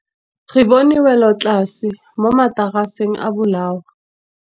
Re bone wêlôtlasê mo mataraseng a bolaô.